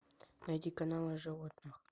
найди канал о животных